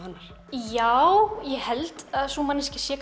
já ég held að sú manneskja sé